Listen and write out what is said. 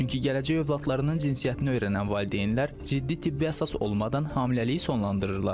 Çünki gələcək övladlarının cinsiyyətini öyrənən valideynlər ciddi tibbi əsas olmadan hamiləliyi sonlandırırlar.